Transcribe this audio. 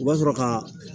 U b'a sɔrɔ ka